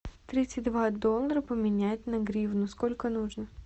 тридцать два доллара поменять на гривны сколько нужно